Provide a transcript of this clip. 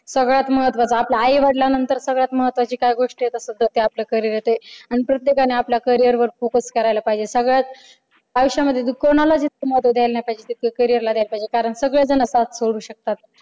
सगळ्यात महत्वाच आपल्या आई वडिलांनंतर सगळ्यात महत्वाची काय गोष्ट येत असल तर ते आपलं carrier येत आणि प्रत्येकाने आपल्या carrier वर focus करायला पाहिजे. सगळ्यात आयुष्यामध्ये कोणालाच इतकं महत्त्व दिल नाही पाहिजे जितकं carrier ला द्यायला पाहिजे कारण सगळेजण घात करू शकतात